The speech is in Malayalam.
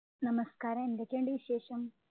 നമസ്കാരം. എന്തൊക്കെ ഇണ്ട് വിശേഷം?